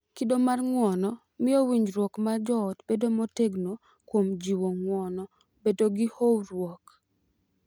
Kido mar ng’uono miyo winjruok mar joot bedo motegno kuom jiwo ng’uono, bedo gi horuok,